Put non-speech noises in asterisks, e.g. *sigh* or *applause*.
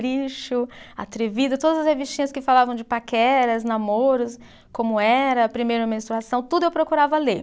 *unintelligible* atrevido, todas as revistinhas que falavam de paqueras, namoros, como era, primeira menstruação, tudo eu procurava ler.